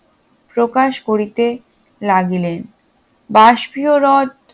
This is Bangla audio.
প্রকাশ করিতে লাগিলেন বাষ্পীয় রথ